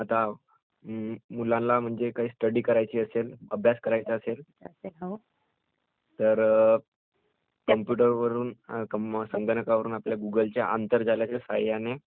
आता ...अम्म...मुलांना म्हणजे काही स्टडी करायची असेल, अभ्यास करायचा असेल...तर कम्प्युटरवरुन...............संगणकावरुन आपल्या गुगलच्या आतरगाल्याच्या सहाय्याने